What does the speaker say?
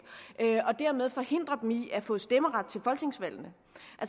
og dermed forhindre dem i at få stemmeret